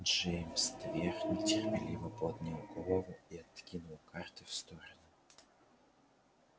джеймс твер нетерпеливо поднял голову и откинул карты в сторону